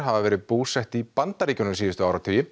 hafa verið búsett í Bandaríkjunum síðustu áratugi